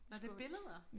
Nårh det billeder